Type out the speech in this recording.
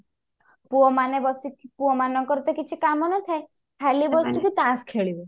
ପୁଅମାନେ ବସିକି ପୁଅମାନଙ୍କ ର ତ କିଛି କାମ ନଥାଏ ଖାଲି ବସିକି ତାସ୍ ଖେଳିବେ